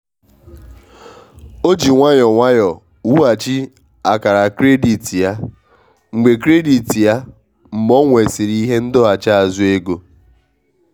o ji nwayọọ nwayọọ wughachi akara kredit ya mgbe kredit ya mgbe ọ nwesịrị ihe ndọghachi azụ ego.